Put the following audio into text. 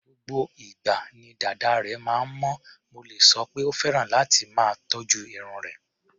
Gbogbo ìgbà ni dàda rẹ̀ máa ń mọ́, mo lè sọ pé ó fẹ́ràn láti máa tọ́jú irun rẹ̀.